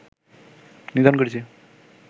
নিধন করেছি